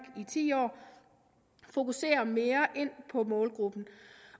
i ti år fokuserer mere på målgruppen